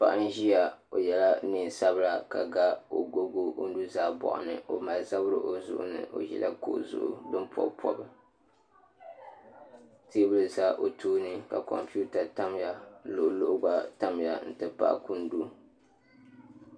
Paɣa n ʒiya o yɛla neen sabila ka ga agogo o nuzaa boɣani o mali zabiri o zuɣu ni o ʒila kuɣu zuɣu din pobpobi teebuli ʒɛ o tooni ka kompita tamya ka luɣuluɣu gba tamya n ti pahi kundu